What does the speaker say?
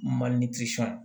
Mali